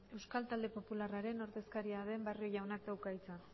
euskal talde popularraren ordezkaria den barrio jaunak dauka hitza